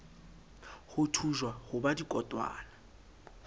ho thujwa ho ba dikotwana